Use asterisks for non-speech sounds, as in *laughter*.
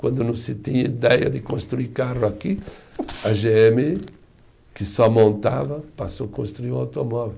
Quando não se tinha ideia de construir carro aqui, *sneezes* a gê eme, que só montava, passou a construir um automóvel.